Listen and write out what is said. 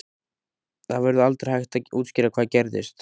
Það verður aldrei hægt að útskýra hvað gerðist.